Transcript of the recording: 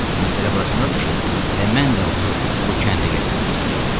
Məsələ burasındadır ki, elə mən də onu bu kəndə gətirmək istəyirdim.